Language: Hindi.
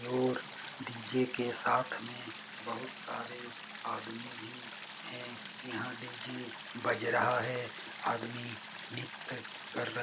और डी.जे. के साथ में बहुत सारे आदमी भी है। यहाँ डी_जे बज रहा है। आदमी नृत्य कर रहे हैं।